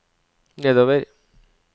nedover